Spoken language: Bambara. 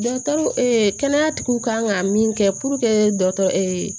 kɛnɛyatigiw kan ka min kɛ puruke dɔgɔtɔrɔ